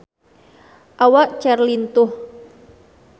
Awak Cher lintuh